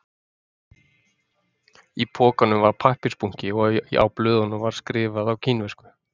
Í pokanum var pappírsbunki og á blöðin var skrifað á kínversku